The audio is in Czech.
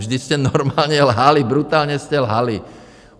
Vždyť jste normálně lhali , brutálně jste lhali.